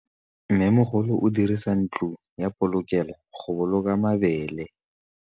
Mmêmogolô o dirisa ntlo ya polokêlô, go boloka mabele.